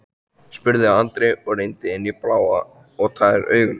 spurði Andri og rýndi inn í blá og tær augun.